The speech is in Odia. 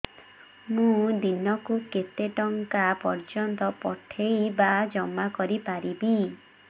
ମୁ ଦିନକୁ କେତେ ଟଙ୍କା ପର୍ଯ୍ୟନ୍ତ ପଠେଇ ବା ଜମା କରି ପାରିବି